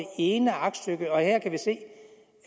ene aktstykke og her kan vi se